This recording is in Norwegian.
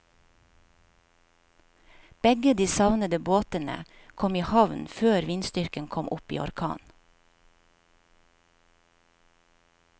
Begge de savnede båtene kom i havn før vindstyrken kom opp i orkan.